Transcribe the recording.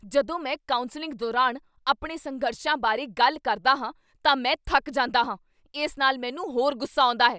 ਜਦੋਂ ਮੈਂ ਕਾਊਂਸਲਿੰਗ ਦੌਰਾਨ ਆਪਣੇ ਸੰਘਰਸ਼ਾਂ ਬਾਰੇ ਗੱਲ ਕਰਦਾ ਹਾਂ ਤਾਂ ਮੈਂ ਥੱਕ ਜਾਂਦਾ ਹਾਂ। ਇਸ ਨਾਲ ਮੈਨੂੰ ਹੋਰ ਗੁੱਸਾ ਆਉਂਦਾ ਹੈ।